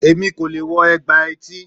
Èmi kò leè wo ègbà etí